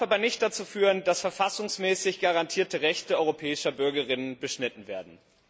Sie darf aber nicht dazu führen, dass verfassungsmäßig garantierte Rechte europäischer Bürgerinnen und Bürger beschnitten werden.